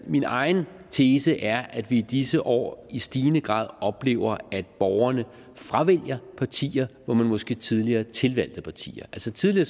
min egen tese er at vi i disse år i stigende grad oplever at borgerne fravælger partier hvor man måske tidligere tilvalgte partier altså tidligere